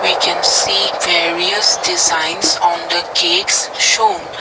we can see various designs on the cakes shown.